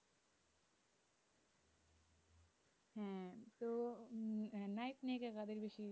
হ্যাঁ তো নায়ক নায়িকা কাদের কিছু